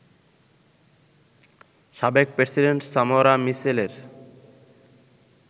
সাবেক president Samora মিচেলের